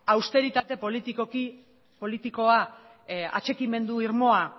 austeritate politikoa atxikimendu irmoa